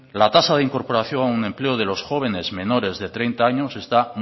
la tasa de incorporación al empleo de los jóvenes menores de treinta años está